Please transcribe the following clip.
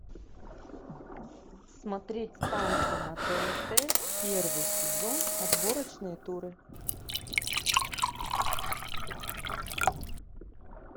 смотреть танцы на тнт первый сезон отборочные туры